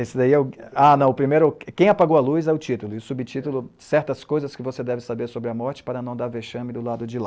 Esse daí é o... Ah, não, o primeiro... ''Quem Apagou a Luz'' é o título, e o subtítulo, ''certas coisas que você deve saber sobre a morte para não dar vexame do lado de lá.''